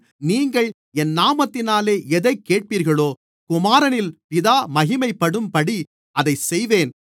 நீங்கள் என் நாமத்தினாலே எதைக் கேட்பீர்களோ குமாரனில் பிதா மகிமைப்படும்படி அதைச் செய்வேன்